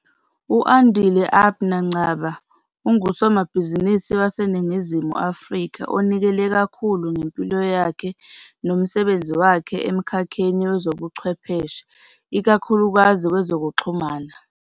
U-Andile Abner Ngcaba ungusomabhizinisi waseNingizimu Afrika onikele kakhulu ngempilo yakhe nomsebenzi wakhe emkhakheni wezobuchwepheshe, ikakhulukazi kwezokuxhumana.